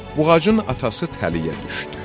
Buğacın atası təliyə düşdü.